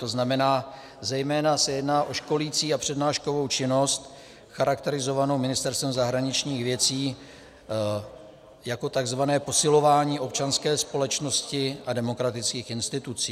To znamená, zejména se jedná o školicí a přednáškovou činnost charakterizovanou Ministerstvem zahraničních věcí jako tzv. posilování občanské společnosti a demokratických institucí.